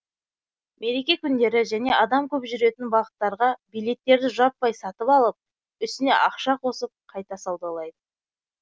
мереке күндері және адам көп жүретін бағыттарға билеттерді жаппай сатып алып үстіне ақша қосып қайта саудалайды